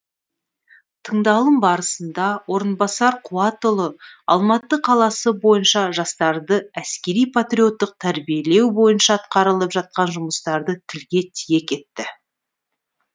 тыңдалым барысында орынбасар қуатұлы алматы қаласы бойынша жастарды әскери патриоттық тәрбиелеу бойынша атқарылып жатқан жұмыстарды тілге тиек етті